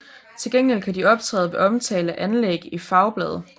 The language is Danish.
Til gengæld kan de optræde ved omtale af anlæg i fagblade